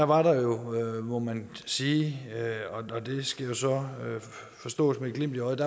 var der jo må man sige og det skal jo så forstås med et glimt i øjet